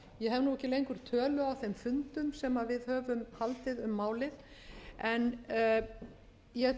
ekki lengur tölu á þeim fundum sem við höfum haldið um málið en ég